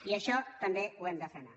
i això també ho hem de frenar